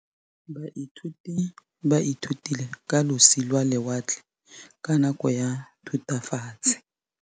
Baithuti ba ithutile ka losi lwa lewatle ka nako ya Thutafatshe.